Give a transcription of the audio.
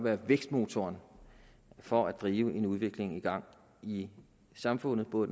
er vækstmotoren for at drive en udvikling i gang i samfundet både